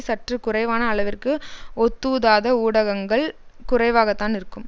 சற்று குறைவான அளவிற்கு ஒத்தூதாத ஊடகங்கள் குறைவாகத்தான் இருக்கும்